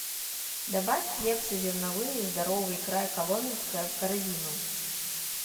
добавь хлебцы зерновые здоровый край коломенское в корзину